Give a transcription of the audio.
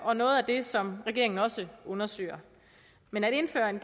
og noget af det som regeringen også undersøger men at indføre et